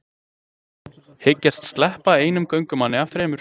Hyggjast sleppa einum göngumanni af þremur